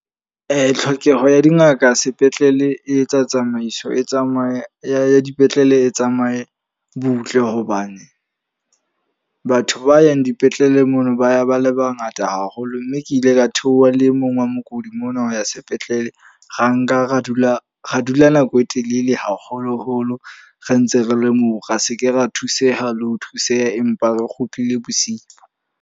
Tlhokeho ya dingaka sepetlele e etsa tsamaiso e tsamaye ya dipetlele E tsamaye butle. Hobane batho ba yang dipetlele mono ba ya ba le bangata haholo. Mme ke ile ka theoha le e mong wa mookodi mona ho ya sepetlele. Ra nka ra dula ra dula nako e telele haholo-holo re ntse re le moo. Ra seke ra thuseha le ho thuseha, empa re kgutlile bosiu.